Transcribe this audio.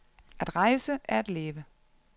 At rejse er at leve.